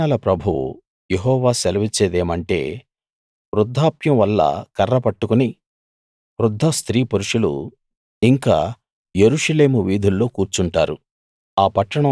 సేనల ప్రభువు యెహోవా సెలవిచ్చేదేమంటే వృద్ధాప్యం వల్ల కర్ర పట్టుకుని వృద్ధ స్త్రీపురుషులూ ఇంకా యెరూషలేము వీధుల్లో కూర్చుంటారు